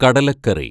കടലക്കറി